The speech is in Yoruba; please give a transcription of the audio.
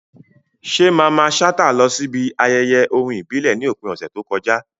Ṣé Mamman Shata lọ síbi ayẹyẹ orin ìbílẹ̀ ní òpin ọ̀sẹ̀ tó kọjá?